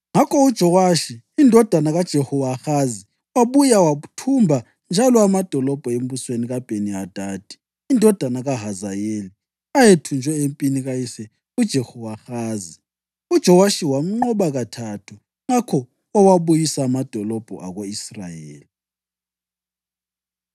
Ngakho uJowashi indodana kaJehowahazi wabuya wathumba njalo amadolobho embusweni kaBheni-Hadadi indodana kaHazayeli ayethunjwe empini kayise uJehowahazi. UJowashi wamnqoba kathathu, ngakho wawabuyisa amadolobho abako-Israyeli.